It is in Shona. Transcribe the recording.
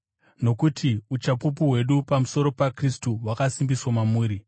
nokuti uchapupu hwedu pamusoro paKristu hwakasimbiswa mamuri.